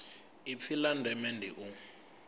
ipfi la ndeme ndi u